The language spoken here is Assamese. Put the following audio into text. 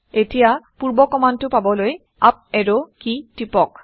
এতিয়া পূৰ্ব কমাণ্ডটো পাবলৈ আপ এৰো কি টিপক